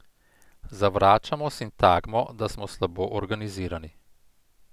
Zavračamo sintagmo, da smo slabo organizirani.